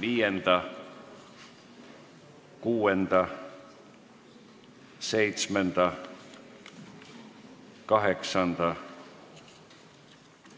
Viienda, kuuenda, seitsmenda, kaheksanda